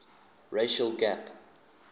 racial gap